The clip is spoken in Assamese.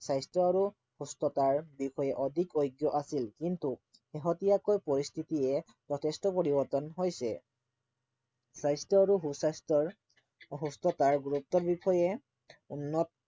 স্বাস্থ্য আৰু সুস্থতাৰ বিষয়ে অধিক অজ্ঞ আছিল কিনতু শেহতীয়াকৈ পৰিস্থিতিয়ে যথেষ্ট পৰিবৰ্তণ হৈছে স্বাস্থ্য আৰু সু স্বাস্থ্যৰ অ সুস্থতাৰ গুৰুত্বৰ বিষয়ে উন্নত